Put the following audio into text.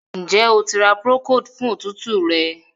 Njé O tí ra Procold fún òtútù rẹ.?